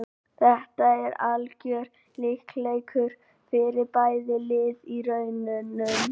Þetta er algjör lykilleikur fyrir bæði lið í rauninni.